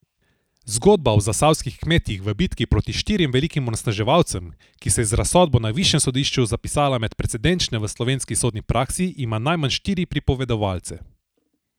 Zgodba o zasavskih kmetih v bitki proti štirim velikim onesnaževalcem, ki se je z razsodbo na višjem sodišču zapisala med precedenčne v slovenski sodni praksi, ima najmanj štiri pripovedovalce.